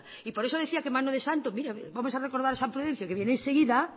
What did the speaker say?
y por eso decía que mano de santo vamos a recordar a san prudencio que viene enseguida